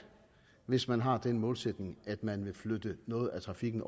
hvis man har den målsætning at man vil flytte noget af trafikken